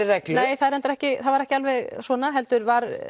reglu nei það er reyndar ekki það var ekki alveg svona heldur var